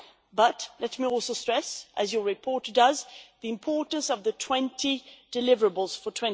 However, let me also stress, as your report does, the importance of the 20 deliverables for